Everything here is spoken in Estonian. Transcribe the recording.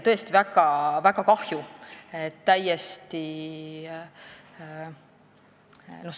Tõesti väga kahju, et nii läks.